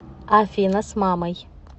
афина с мамой